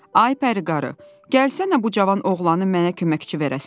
Ay pəri qarı, gəlsənə bu cavan oğlanı mənə köməkçi verərsən.